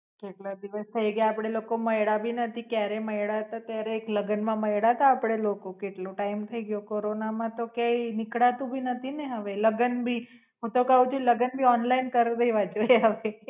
કેટલા દિવસ થાઈ ગયા આપડે લોકો મઈળા ભી નથી ક્યારેય મઈળા તો ક્યારેક લગન માં મઈળા તા આપડે લોકો કેટલો ટાઇમ થઈ ગયો corona માં તો ક્યાંય નીકળાતું ભી નથી ને હવે લગ્ન ભી હું તો ક્વ છું લગન ભી ઓનલાઇન કર દેવા જોઈએ હવે